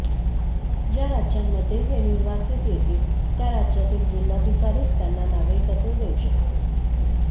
ज्या राज्यांमध्ये हे निर्वासित येतील त्या राज्यातील जिल्हाधिकारीच त्यांना नागरिकत्व देऊ शकतील